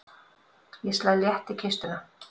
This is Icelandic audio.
Ég slæ létt í kistuna.